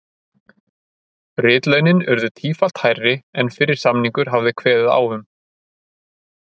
Ritlaunin urðu tífalt hærri en fyrri samningur hafði kveðið á um.